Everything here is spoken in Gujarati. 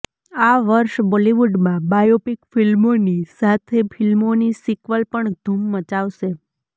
આ વર્ષ બોલિવૂડમાં બાયોપિક ફિલ્મોની સાથે ફિલ્મોની સિક્વલ પણ ધૂમ મચાવશે